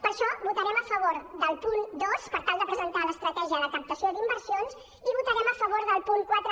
per això votarem a favor del punt dos per tal de presentar l’estratègia de captació d’inversions i votarem a favor del punt quatre